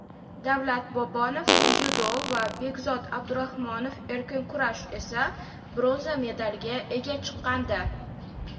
Davlat Bobonov (dzyudo) va Bekzod Abdurahmonov (erkin kurash) esa bronza medaliga ega chiqqandi.